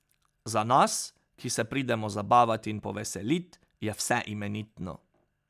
Za nas, ki se pridemo zabavat in poveselit, je vse imenitno.